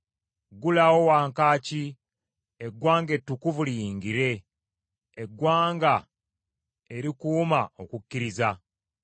Ggulawo wankaaki, eggwanga ettukuvu liyingire, eggwanga erikuuma okukkiriza.